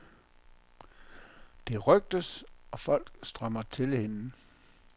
Det rygtes, og folk strømmer til hende.